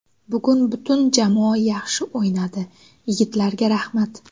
Bugun butun jamoa yaxshi o‘ynadi, yigitlarga rahmat!